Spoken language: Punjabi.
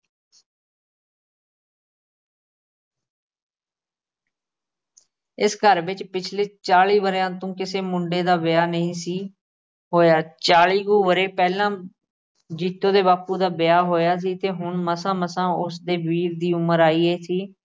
ਇਸ ਘਰ ਵਿੱਚ ਪਿਛਲੇ ਚਾਲੀ ਵਰ੍ਹਿਆਂ ਤੋਂ ਕਿਸੇ ਮੁੰਡੇ ਦਾ ਵਿਆਹ ਨਹੀਂ ਸੀ ਹੋਇਆ। ਚਾਲੀ ਕੁ ਵਰ੍ਹੇ ਪਹਿਲਾਂ ਜੀਤੋ ਦੇ ਬਾਪੂ ਦਾ ਵਿਆਹ ਹੋਇਆ ਸੀ ਤੇ ਹੁਣ ਮਸਾਂ ਮਸਾਂ ਉਸਦੇ ਵੀਰ ਦੀ ਉਮਰ ਆਈ ਸੀ।